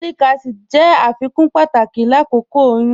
Folic acid jẹ afikun pátàkì lákókò oyún.